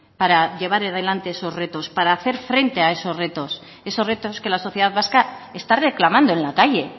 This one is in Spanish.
esos retos para hacer frente a esos retos esos retos que la sociedad vasca está reclamando en la calle